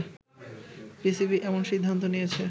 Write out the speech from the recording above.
PCB এমন সিদ্ধান্ত নিয়েছে